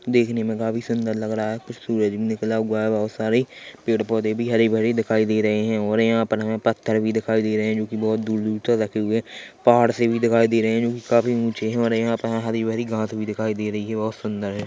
देखने मे काफी सुंदर लग रहा है कुछ सूरज भी निकला हुआ है बहुत सारे पेड़ पौधे भी हरे भरे दिखाई दे रहे है और यहां पर हमें पत्थर भी दिखाई दे रहे है जो की बहुत दूर दूर तक रखे हुए है पहाड़ से भी दिखाई दे रहे है जो की काफी ऊँचे और यहां पर हरी भरी घांस भी दिखाई दे रही है और सुंदर है।